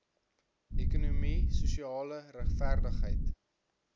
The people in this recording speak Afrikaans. ekonomie sosiale regverdigheid